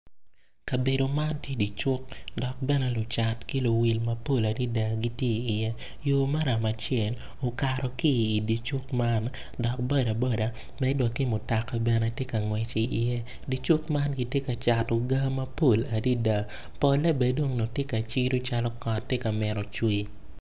Kabedo man tye dye cuk dok lucat ki luwil mapol gitye iye yo maram acel okato ki i dye cuk man dok bodaboda med wa ki mutika bene tye ka ngwec iye dye cuk man kitye ka cato gaa mapol adada.